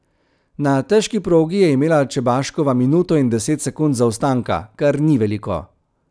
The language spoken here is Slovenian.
Na težki progi je imela Čebaškova minuto in deset sekund zaostanka, kar ni veliko.